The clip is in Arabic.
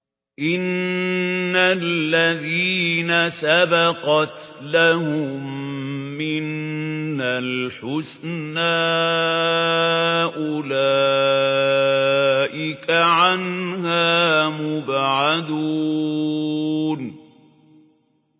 إِنَّ الَّذِينَ سَبَقَتْ لَهُم مِّنَّا الْحُسْنَىٰ أُولَٰئِكَ عَنْهَا مُبْعَدُونَ